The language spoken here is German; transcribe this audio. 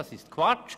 Das ist Quatsch!